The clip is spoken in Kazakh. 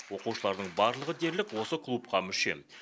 оқушылардың барлығы дерлік осы клубқа мүше